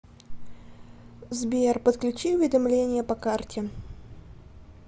сбер подключи уведомления по карте